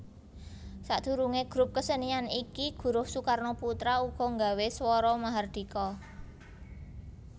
Sadurunge grup kesenian iki Guruh Soekarnoputra uga nggawe Swara Mahardhika